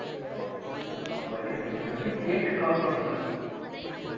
அப்ப அப்ப திருப்பி கேக்க call பண்ணல